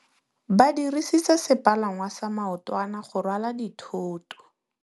Ba dirisitse sepalangwasa maotwana go rwala dithôtô.